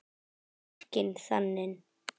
Barkinn þaninn.